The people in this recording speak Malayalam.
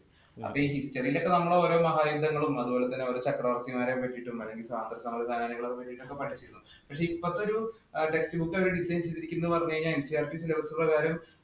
അപ്പോയി history യില്‍ നമ്മള്‍ ഓരോ മഹാലിംഗങ്ങളും, ചക്രവര്‍ത്തിമാരെ കുറിച്ചും സ്വാതന്ത്ര്യ സമര സേനാനികളെ കുറിച്ചൊക്കെ പഠിച്ചു. പക്ഷെ, ഇപ്പോഴത്തെ ഒരു text book എടുത്ത് വച്ചിരിക്കുന്നു എന്ന് പറഞ്ഞു കഴിഞ്ഞാല്‍ NCERTsylabus പ്രകാരം